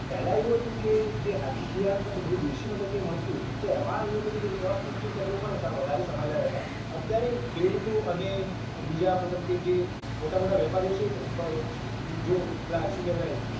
પેલા એવું હતું કે જે hybrid બિયારણ નતું બધું દેશી પદ્ધતિથી મળતું તો એમાં એવું હતું કે એમાં પૌષ્ટિક તત્વો પણ વધારે સમાયેલ રહેતા અત્યારે ખેડૂતો અને બીજા મતલબ કે જે મોટા મોટા વેપારીઓ છે જો પેલા શું કહેવાય